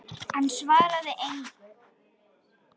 Hann svaraði engu.